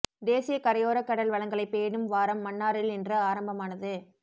தேசிய கரையோரக் கடல் வளங்களைப் பேணும் வாரம் மன்னாரில் இன்று ஆரம்பமானது